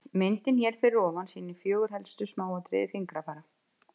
Myndin hér fyrir ofan sýnir fjögur helstu smáatriði fingrafara.